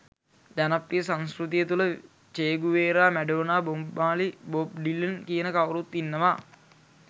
ජනප්‍රිය සංස්කෘතිය තුළ Che Guevara Madonna Bob Marley Bob Dylan කියන කවුරුත් ඉන්නවා